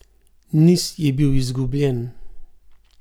Niz je bil izgubljen.